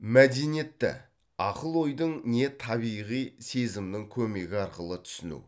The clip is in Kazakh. мәдениетті ақыл ойдың не табиғи сезімнің көмегі арқылы түсіну